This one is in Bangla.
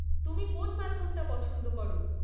তুমি কোন মাধ্যমটা পছন্দ করো?